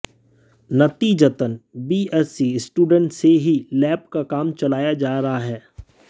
नतीजतन BSc students से ही लैब का काम चलाया जा रहा है